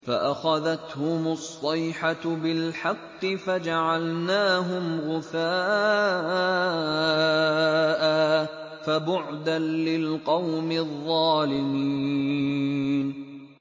فَأَخَذَتْهُمُ الصَّيْحَةُ بِالْحَقِّ فَجَعَلْنَاهُمْ غُثَاءً ۚ فَبُعْدًا لِّلْقَوْمِ الظَّالِمِينَ